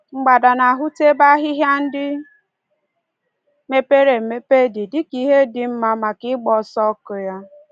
Mgbada na-ahụta ebe ahịhịa ndị mepere emepe dị ka ihe dị mma maka ịgba ọsọ ọkụ ya.